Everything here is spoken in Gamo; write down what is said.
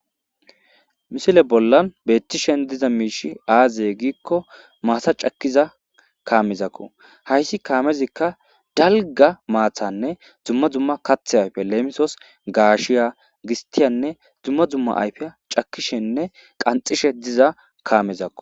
Misile bollan beettishen diza miishi aaziye giikko maatha cakiza kaamezakko hayssi kaamezikka dalga maathanne zumma zumma kathe ayfe leemisos gaashiya gistiyanne dzumma zumma ayfeya cakishenne qanxishe diza kaamezakko.